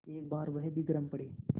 एक बार वह भी गरम पड़े